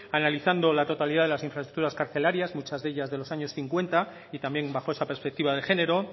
analizando la totalidad de las infraestructuras carcelarias muchas de ellas de los año cincuenta y también bajo esa perspectiva de género